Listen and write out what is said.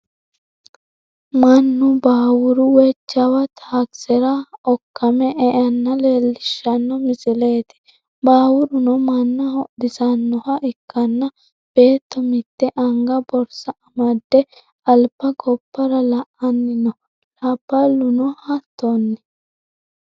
Mannu baawuru woyi jawa taakisera okkame eanna leellishshanno misileeti. Baawurono manna hodhisannoha ikkanna beetto mitte anga borsa amadde Alba gobbara la"anni no. Labballuno hattonni.